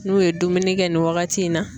N'u ye dumuni kɛ nin waagati in na